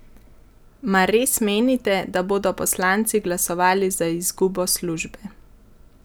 Mar res menite, da bodo poslanci glasovali za izgubo službe?